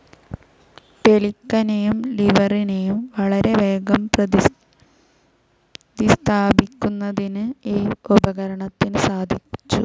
പെലിക്കനെയും ലീവറിനെയും വളരെവേഗം പ്രതിസ്ഥാപിക്കുന്നതിന് ഈ ഉപകരണത്തിനു സാധിച്ചു.